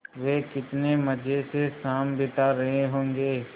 वे कितने मज़े से शाम बिता रहे होंगे